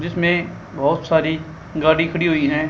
इसमें बहुत सारी गाड़ी खड़ी हुई हैं।